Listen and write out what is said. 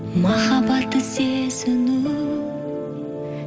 махаббатты сезіну